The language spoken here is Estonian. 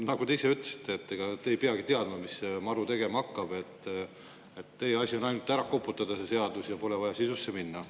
Nagu te ise ütlesite, ega te ei peagi teadma, mis see MaRu tegema hakkab, et teie asi on ainult ära koputada see seadus ja pole vaja sisusse minna.